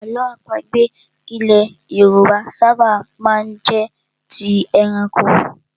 Àlọ́ àpagbè ilẹ̀ Yorùbá ṣábà má ń jẹ́ ti ẹranko.